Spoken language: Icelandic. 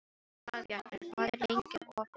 Dagbjartur, hvað er lengi opið í Nettó?